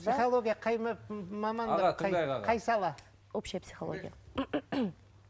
психология қай қай сала общая психология